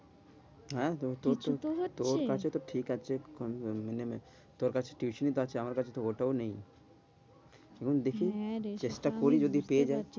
আহ তোর তো, তোর কাছে তো ঠিক আছে, তোর কাছে তো টিউশনি তো আছে, আমার কাছে তো ওটাও নেই। এবার দেখি হ্যাঁ রে, চেষ্টা করি যদি পেয়ে যাই।